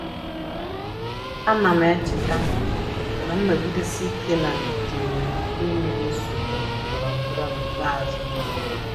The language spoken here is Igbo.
Ana m echeta na nnọgidesi ike na ndidi nwere ike imeri nsogbu ndọrọndọrọ n'ikpeazụ.